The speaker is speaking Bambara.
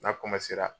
N'a